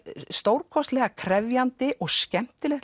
stórkostlega krefjandi og skemmtilegt